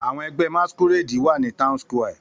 Àwọn ẹgbẹ́ Masqurade wà ní Town Square.